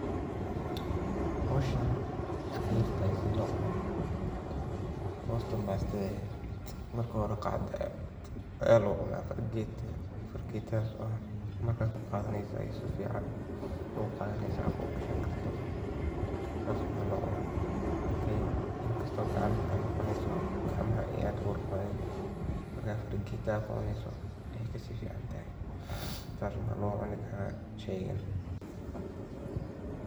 Howsahn wey iska yartaahay sidaa loo cuno, marka hore ,Pastada waa cunto macaan oo aad loo jecel yahay, waxaana badanaa la cuno xilliyada munaasabadaha sida dhalashada, aroosyada, ama xafladaha kale. Marka la doonayo in la cuno pastada, waxaa marka hore loo baahan yahay in si nadiif ah loo diyaariyo miiska ama goobta cuntada. Pastada waxaa laga jarayaa googo' yar-yar iyadoo la adeegsanayo mindi nadiif ah, si qof walba u helo qayb siman.